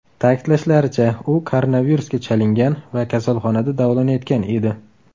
Ta’kidlashlaricha, u koronavirusga chalingan va kasalxonada davolanayotgan edi.